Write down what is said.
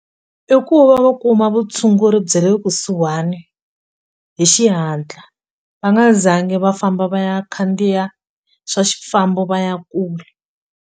I ku va va kuma vutshunguri bya le kusuhani hi xihatla va nga zangi va famba va ya khandziya swa xifambo va ya kule.